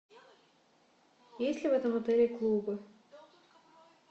есть ли в этом отеле клубы